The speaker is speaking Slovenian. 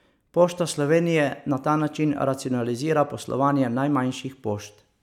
Pošta Slovenije na ta način racionalizira poslovanje najmanjših pošt.